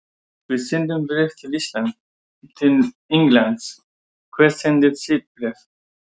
Við sendum bréf til Englands. Hvert sendið þið bréf?